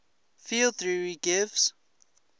field theory gives